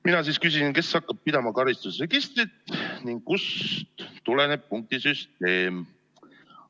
Mina küsisin, kes hakkab pidama karistusregistrit ning kust tuleneb punktisüsteem.